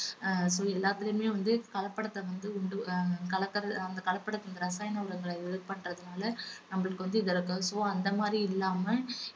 ஆஹ் so எல்லாத்துலயுமே வந்து கலப்படத்தை வந்து உண்டு~ ஆஹ் கலக்க~ அவங்க கலப்பட ரசாயன உரங்களை இது பண்றதுனால நம்மளுக்கு வந்து so அந்த மாதிரி இல்லாம